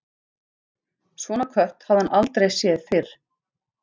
Svona kött hafði hann aldrei séð fyrr.